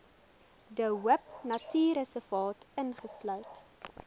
de hoopnatuurreservaat insluit